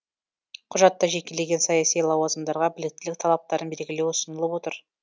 құжатта жекелеген саяси лауазымдарға біліктілік талаптарын белгілеу ұсынылып отыр